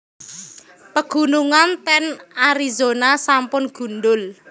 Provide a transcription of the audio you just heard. Pegunungan ten Arizona sampun gundhul